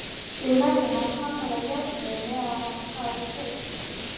Við verðum að hamra járnið meðan það er heitt.